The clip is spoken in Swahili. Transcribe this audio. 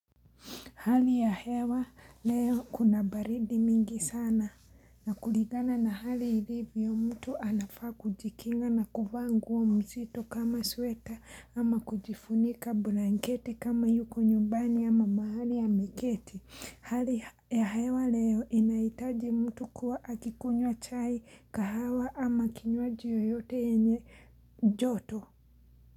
Hali ya hewa leo kuna baridi mingi sana na kulingana na hali ilivyo mtu anafaa kujikinga na kuvaa nguo mzito kama sweta ama kujifunika blanketi kama yuko nyumbani ama mahali ameketi. Hali ya hewa leo inaitaji mtu kuwa akikunywa chai kahawa ama kinywaji yoyote enye joto.